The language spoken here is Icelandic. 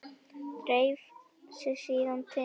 Dreif sig síðan til